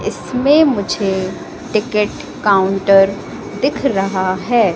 इसमें मुझे ticket counter दिख रहा है।